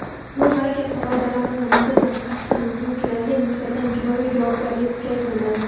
Yo‘l harakati qoidalarini muntazam qasddan buzuvchilarga nisbatan jinoiy javobgarlik kuchaytiriladi.